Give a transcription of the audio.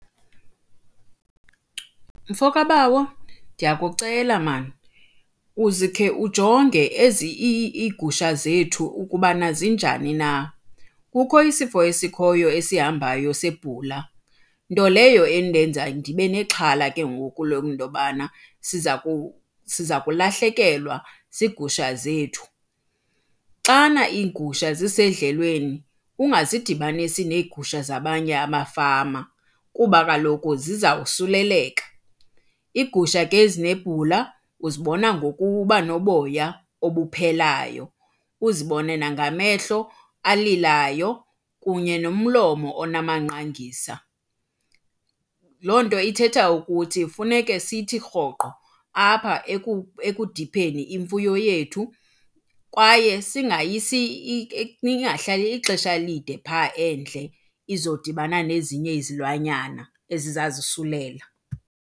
Mfo kabawo, ndiyakucela mani uzikhe ujonge ezi iigusha zethu ukuba zinjani na. Kukho isifo esikhoyo esihambayo sebhula, nto leyo endenza ndibenexhala ke ngoku le nto yobana siza siza kulahlekelwa ziigusha zethu. Xana iigusha zisedlelweni, ungazidibanisi neegusha zabanye amafama kuba kaloku zizawusuleleka. Iigusha ke ezinebula uzibona ngokuba noboya obuphelayo, uzibone nangamehlo alilayo kunye nomlomo onamanqangisa. Loo nto ithetha ukuthi funeke sithi rhoqo apha ekudipheni imfuyo yethu kwaye singayisi ingahlali ixesha elide phaa endle izodibana nezinye izilwanyana ezizazisulela.